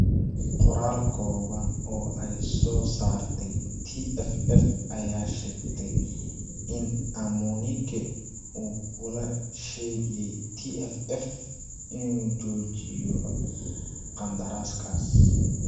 Qoraal kooban oo ay soo saartay TFF ayaa sheegtay in Amunike uu kula heshiiyay TFF innuu joojiyo qandaraska